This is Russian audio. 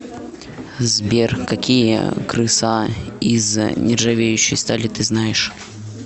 сбер какие крыса из нержавеющей стали ты знаешь